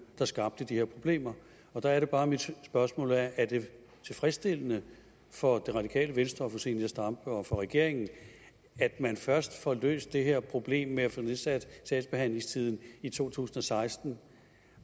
der skabte de her problemer og der er det bare mit spørgsmål er er det tilfredsstillende for det radikale venstre og fru zenia stampe og for regeringen at man først får løst det her problem med at få nedsat sagsbehandlingstiderne i 2016